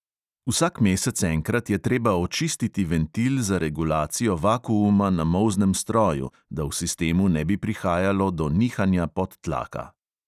Vsak mesec enkrat je treba očistiti ventil za regulacijo vakuuma na molznem stroju, da v sistemu ne bi prihajalo do nihanja podtlaka.